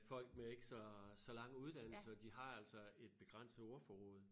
Folk med ikke så så lange uddannelser de har altså et begrænset ordforråd